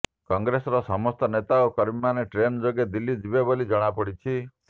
କଂଗ୍ରେସର ସମସ୍ତ ନେତା ଓ କର୍ମୀମାନେ ଟ୍ରେନ୍ ଯୋଗେ ଦିଲ୍ଲୀ ଯିବେ ବୋଲି ଜଣାପଡ଼ିଛି